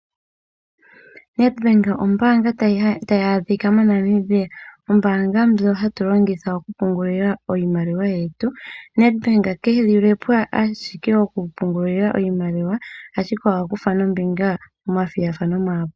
Nedbank ombaanga tayi adhika moNambia. Ombaanga ndjoka hatu longitha okupungula iimaliwa yetu. Nedbank ke li le po owala okupungula iimaliwa, ihe oha kutha ombinga momathigathano ogendji.